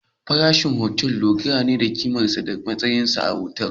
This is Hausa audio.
Farashin otal ya dogara da ƙimarsa da matakin alatu